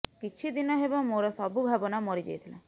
କିଛି ଦିନ ହେବ ମୋର ସବୁ ଭାବନା ମରି ଯାଇଥିଲା